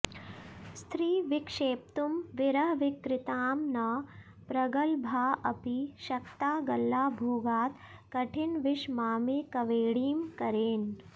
स्री विक्षेप्तुं विरहविकृतां न प्रगल्भाऽपि शक्ता गल्लाभोगात् कठिनविषमामेकवेणीं करेण